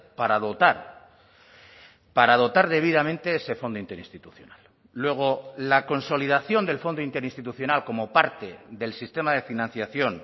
para dotar para dotar debidamente ese fondo interinstitucional luego la consolidación del fondo interinstitucional como parte del sistema de financiación